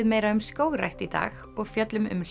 meira um skógrækt í dag og fjöllum um